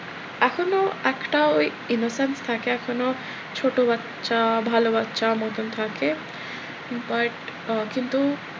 এখনো একটা ওই innocent থাকে এখনো ছোট বাচ্ছা ভালো বাচ্চা মতন থাকে but আহ কিন্তু,